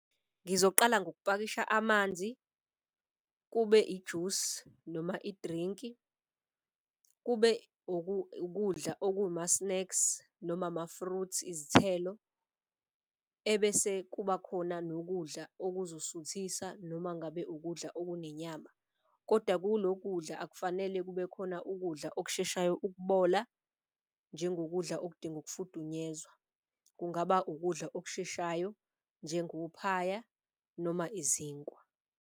Ngizoqala ngokupakisha amanzi, kube ijusi noma i-drink, kube ukudla okuma-snacks noma ama-fruits izithelo. Ebese kuba khona nokudla okuzosuthisa noma ngabe ukudla okunenyama. Koda kulo kudla akufanele kube khona ukudla okusheshayo ukubola njengokudla okudinga ukufudunyezwa, kungaba ukudla okusheshayo njengophaya noma izinkwa.